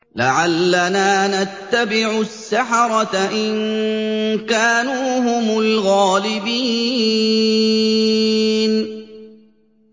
لَعَلَّنَا نَتَّبِعُ السَّحَرَةَ إِن كَانُوا هُمُ الْغَالِبِينَ